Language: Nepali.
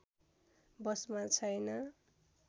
बसमा छैन